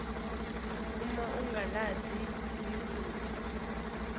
uma ungalati likusasa